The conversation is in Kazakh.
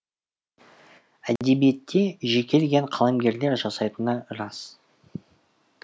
әдебиетті жекелеген қаламгерлер жасайтыны рас